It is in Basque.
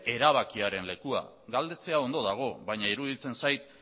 erabakiaren lekua ere galdetzea ondo dago baina iruditzen zait